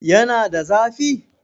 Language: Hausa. Yana da zafi?